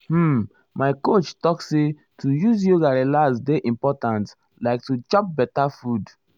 hm my coach talk say to use yoga relax dey important like to chop beta food. food.